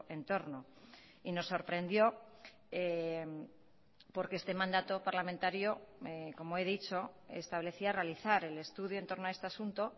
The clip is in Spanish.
entorno y nos sorprendió porque este mandato parlamentario como he dicho establecía realizar el estudio en torno a este asunto